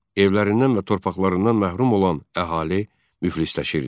Evlərindən və torpaqlarından məhrum olan əhali müflisləşirdi.